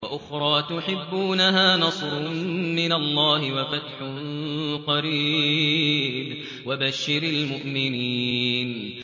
وَأُخْرَىٰ تُحِبُّونَهَا ۖ نَصْرٌ مِّنَ اللَّهِ وَفَتْحٌ قَرِيبٌ ۗ وَبَشِّرِ الْمُؤْمِنِينَ